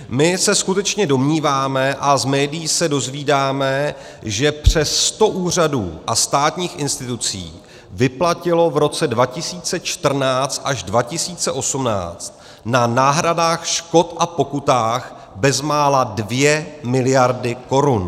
My se skutečně domníváme, a z médií se dozvídáme, že přes 100 úřadů a státních institucí vyplatilo v roce 2014 až 2018 na náhradách škod a pokutách bezmála 2 miliardy korun.